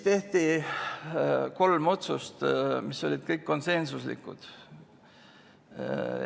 Tehti kolm otsust, mis olid kõik konsensuslikud.